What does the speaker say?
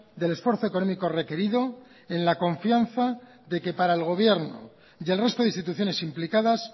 del esfuerzo económico requerido en la confianza de que para el gobierno y el resto de instituciones implicadas